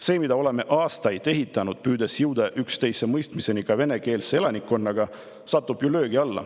See, mida oleme aastaid ehitanud, püüdes jõuda üksteisemõistmiseni ka venekeelse elanikkonnaga, satub ju löögi alla.